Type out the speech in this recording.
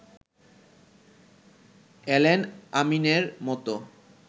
Allen আমিনের মতো